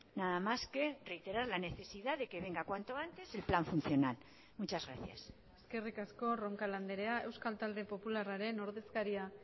nada más que reiterar la necesidad de que venga cuanto antes el plan funcional muchas gracias eskerrik asko roncal andrea euskal talde popularraren ordezkaria